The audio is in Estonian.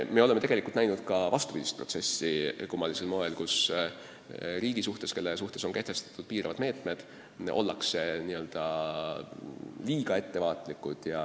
Samas oleme kummalisel moel näinud ka vastupidist tendentsi: riigiga, kelle suhtes on kehtestatud piiravad meetmed, ollakse liiga ettevaatlikud.